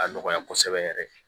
A nɔgɔya kosɛbɛ yɛrɛ